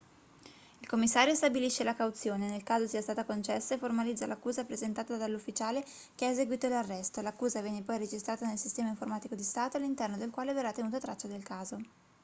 il commissario stabilisce la cauzione nel caso sia stata concessa e formalizza l'accusa presentata dall'ufficiale che ha eseguito l'arresto l'accusa viene poi registrata nel sistema informatico di stato all'interno del quale verrà tenuta traccia del caso